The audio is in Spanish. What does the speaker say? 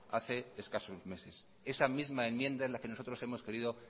hace escasos meses esa misma enmienda es la que nosotros hemos querido